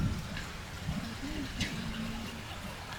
покажи мне этажом ниже